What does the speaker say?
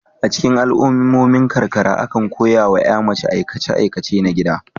A cikin al'ummomin karkara, akan koya wa ƴa mace aikace aikace na gida.